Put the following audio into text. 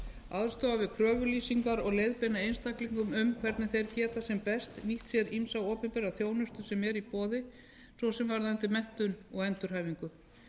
aðstoða við kröfulýsingar og leiðbeina einstaklingum um hvernig þeir geta sem best nýtt sér ýmsa opinbera þjónustu sem er í boði svo sem varðandi menntun og endurhæfingu